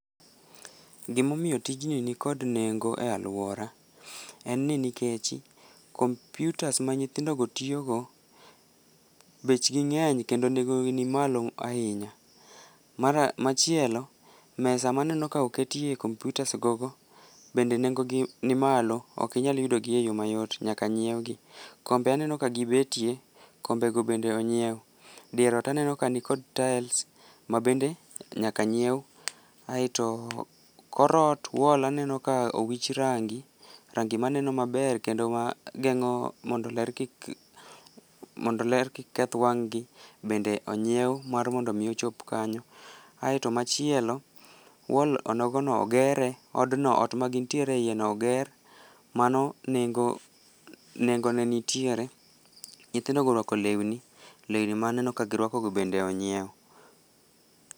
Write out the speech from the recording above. Gimomiyo tijni nikod nengo e alwora en ni nikech, kompyutas ma nyithindogo tiyogo, bechgi ng'eny kendo nengogi ni malo ahinya. Machielo, mesa maneno ka oketye kompyutas gogo, bende nengogi ni malo, ok inyal yudogi yo mayot, nyaka nyiewgi. Kombe aneno ka gibetie. Kombego bende onyiew. Dier ot aneno ka nikod tyles ma bende nyaka nyiew, aeto, kor ot ,wall aneno ka owich rangi, rangi maneno maber kendo mageng'o mondo ler kik keth wang'gi, bende onyiew mar mondo omi ochop kanyo, aeto machielo, wall onogono, ogere, odno, ot magin tiere e iyeno, oger. Mano nengone nitiere, nyithindogo orwako lewni, lewni maneno ka girwakogo bende onyiew.